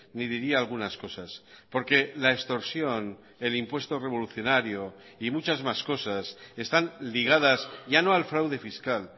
ni diría algunas cosas porque la extorsión el impuesto revolucionario y muchas más cosas están ligadas ya no al fraude fiscal